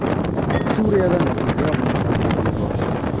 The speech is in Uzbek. Suriyada nufuzli olimni portlatib yuborishdi.